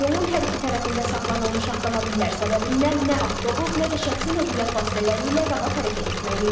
Yolun hər iki tərəfində saxlanılmış avtomobillər səbəbindən nə avtobus, nə də şəxsi nəqliyyat vasitələri ilə rahat hərəkət etmək mümkündür.